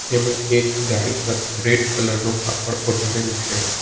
એમાં એક ગાડી પર રેડ કલર નું કાપડ ઓઢાળેલ છે.